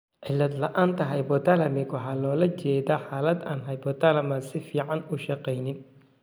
Cilad la'aanta hypothalamic waxaa loola jeedaa xaalad aan hypothalamus si fiican u shaqeynin.